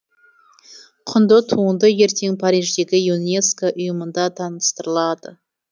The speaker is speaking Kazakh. құнды туынды ертең париждегі юнеско ұйымында таныстырылады